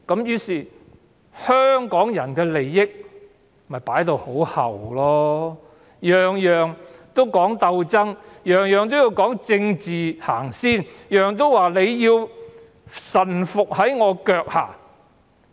於是，香港人的利益被置於後末，事事要鬥爭，事事要政治先行，事事須臣服於其腳下。